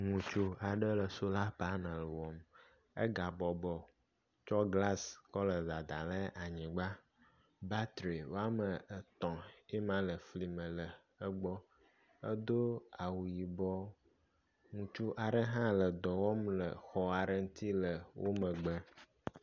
Ŋutsu aɖe le sola paneli wɔm. Egabɔbɔ tsɔ glasi kɔ nɔ dadam ɖe anyigba. Batri wome etɔ̃ yema le fli me la egbɔ. Edo awu yibɔ. Ŋutsu aɖe hã le dɔ wɔm le xɔ aɖe ŋuti le emegbe.